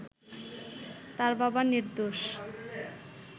তার বাবা নির্দোষ